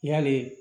Yali